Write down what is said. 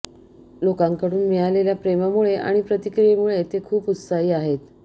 लोकांकडून मिळालेल्या प्रेमामुळे आणि प्रतिक्रियेमुळे ते खूप उत्साही आहेत